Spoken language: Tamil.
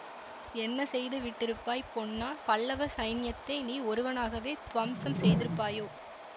என்ன செய்து விட்டிருப்பாய் பொன்னா பல்லவ சைன்யத்தை நீ ஒருவனாகவே துவம்சம் செய்திருப்பாயோ